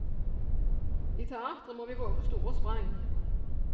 I teatret må vi våge store sprang.